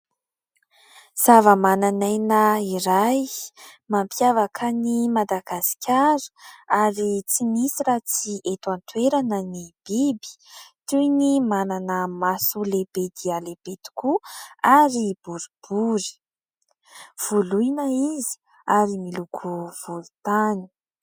Zava-mananaina iray mampiavaka an'i Madagasikara ary tsy misy raha tsy eto an-toerana ny biby, toy ny manana maso lehibe dia lehibe tokoa ary boribory. Voloina izy ary miloko volotany.